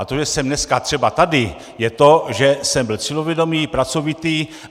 A to, že jsem dneska třeba tady, je to, že jsem byl cílevědomý, pracovitý.